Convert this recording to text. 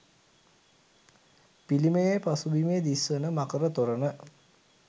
පිළිමයේ පසුබිමේ දිස් වන මකර තොරණ